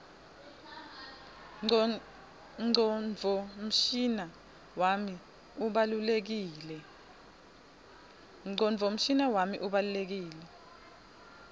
ngcondvomshina wami ubalulekile